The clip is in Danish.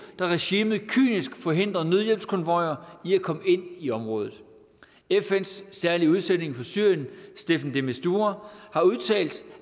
da regimet kynisk forhindrer nødhjælpskonvojer i at komme ind i området fns særlige udsending for syrien staffan de mistura har udtalt